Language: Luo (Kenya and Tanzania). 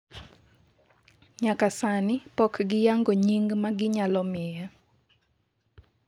nyaka sani pok giyango nying ma ginyalo miye